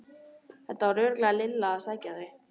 Þetta var örugglega Lilla að sækja þau.